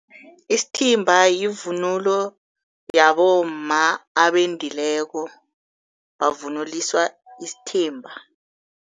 Isithimba yivunulo yabomma abendileko, bavunuliswa isithimba.